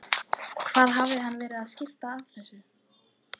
Hvað hafði hann verið að skipta sér af þessu?